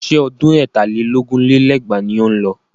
Ṣé ọdún ẹ̀tà lé lógún lé lẹ́gbàá ni ó ń lọ?